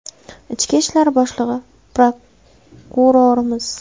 Ichki ishlar boshlig‘i, prokurorimiz?